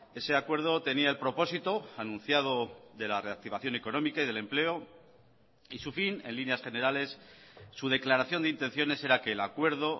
ese acuerdo tenía el propósito anunciado de la reactivación económica y del empleo y su fin en líneas generales su declaración de intenciones era que el acuerdo